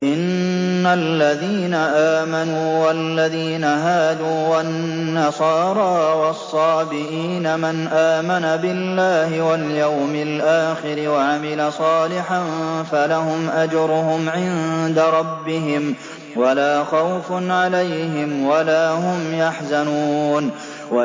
إِنَّ الَّذِينَ آمَنُوا وَالَّذِينَ هَادُوا وَالنَّصَارَىٰ وَالصَّابِئِينَ مَنْ آمَنَ بِاللَّهِ وَالْيَوْمِ الْآخِرِ وَعَمِلَ صَالِحًا فَلَهُمْ أَجْرُهُمْ عِندَ رَبِّهِمْ وَلَا خَوْفٌ عَلَيْهِمْ وَلَا هُمْ يَحْزَنُونَ